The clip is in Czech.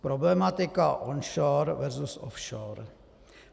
Problematika onshore versus offshore.